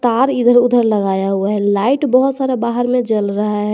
तार इधर उधर लगाया हुआ है लाइट बहोत सारा बाहर मे जल रहा है।